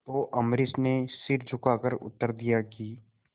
तो अम्बरीश ने सिर झुकाकर उत्तर दिया कि